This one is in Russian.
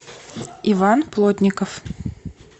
иван плотников